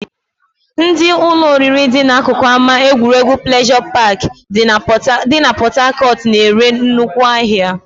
Ndị ụlọ oriri dị n'akụkụ ama egwuregwu pleasure park dị na port Harcourt na-ere nnukwu ahịa